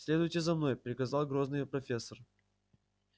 следуйте за мной приказал грозный профессор